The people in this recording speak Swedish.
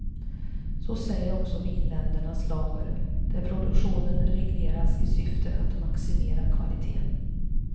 Så säger också vinländernas lagar, där produktionen regleras i syfte att maximera kvaliteten.